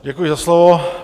Děkuji za slovo.